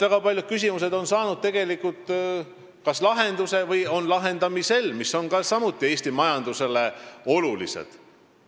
Ma arvan, et väga paljud Eesti majandusele olulised küsimused on kas juba saanud lahenduse või on lahendamisel.